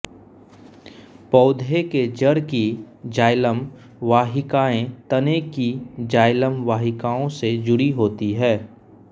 पौधे के जड़ की जाइलम वाहिकाएँ तने की जाइलम वाहिकाओं से जुड़ी होती है